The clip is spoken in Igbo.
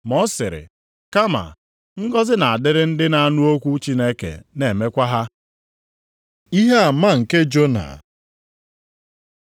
Ma ọ sịrị, kama, “Ngọzị na-adịrị ndị na-anụ okwu Chineke, na-emekwa ha.” Ihe ama nke Jona